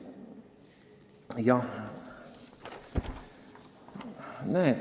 Jah.